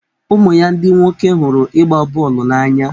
ụmụ ya ndị nwoke hụrụ ịgba bọọlụ n'anya.